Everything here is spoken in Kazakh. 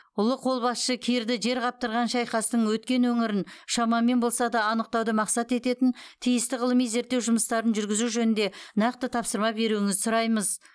ұлы қолбасшы кирді жер қаптырған шайқастың өткен өңірін шамамен болса да анықтауды мақсат ететін тиісті ғылыми зерттеу жұмыстарын жүргізу жөнінде нақты тапсырма беруіңізді сұраймыз